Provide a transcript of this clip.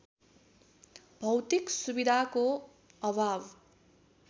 भौतिक सुविधाको अभाव